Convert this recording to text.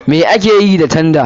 Me akeyi ta tanda?